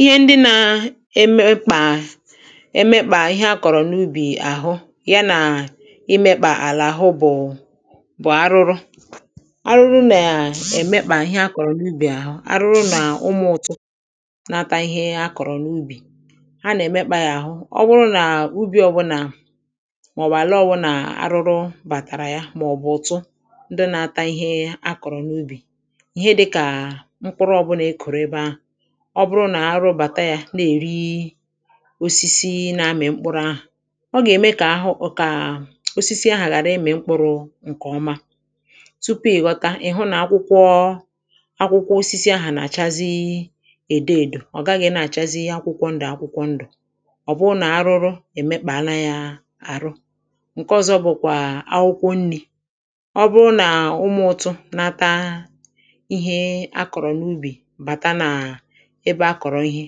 ihe ndị na-emekpà emekpà ihe a kọ̀rọ̀ n’ubì àhụ ya nà imekpà àlà àlà hụ bụ̀ bụ̀ arụrụ arụrụ nà-èmekpà ihe a kọ̀rọ̀ n’ubì àhụ arụrụ nà ụmụ̀ ụ̀tụ nata ihe akọ̀rọ̀ n’ubì ha nà-èmekpà yà hụ ọwụrụ nà ubì ọbụrụ nà màọbụ̀ àlà ọbụụ̇ nà arụrụ bàtàrà yȧ màọbụ̀ ụ̀tụ ndị nȧ-ata ihe a kọ̀rọ̀ n’ubì ọ bụrụ nà arụ bàta yȧ na-èri osisi na-amị̀ mkpụrụ ahụ̀ ọ gà-ème kà ahụ kà osisi ahụ̀ ghàra ịmị̇ mkpụrụ̇ ǹkè ọma tupu ị̀ ghọta ị̀ hụ nà akwụkwọ akwụkwọ osisi ahụ̀ nà-àchazi èdo èdò ọ̀ gaghị̇ na-àchazi akwụkwọ ndụ̀ akwụkwọ ndụ̀ ọ̀ bụrụ nà arụrụ èmekpàala yȧ àrụ ǹke ọzọ bụ̇kwà akwụkwọ nni̇ ọ bụrụ nà ụmụ̀ ụtụ̇ nata ebe a kọ̀rọ ihe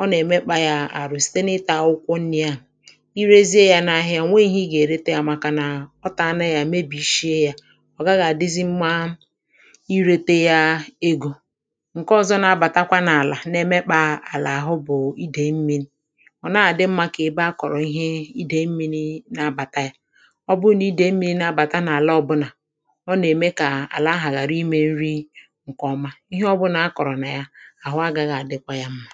ọ nà-èmekpa yȧ àrụ site n’ịtȧ akwụkwọ nni̇ ahụ̀ irėzie yȧ n’ahịa ọ̀ nweghị̇ ihe ị gà-èrete yȧ màkà nà ọ tà ana yȧ mebi̇shie yȧ ọ̀ gàghàdizi mmȧ irete yȧ egȯ ǹke ọzọ na-abàtakwa n’àlà na-èmekpa àlà àhụ bụ̀ idèi mmiri̇ ọ̀ na-àdị mmȧ kà ebe a kọ̀rọ̀ ihe idèi mmiri̇ na-abàta yȧ ọ bụ nà idèi mmiri̇ na-abàta n’àla ọbụnà ọ nà-ème kà àlà ahà ghàra imė nri ǹkè ọma ihe ọbụ̇nà a kọ̀rọ̀ nà ya àhụ agȧghi àdịkwa ya mmȧ